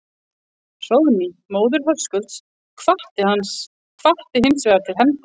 Hróðný, móðir Höskulds, hvatti hins vegar til hefnda.